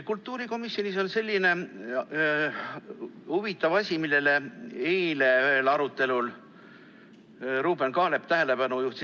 Kultuurikomisjonis on selline huvitav asi, millele eile ühel arutelul Ruuben Kaalep tähelepanu juhtis.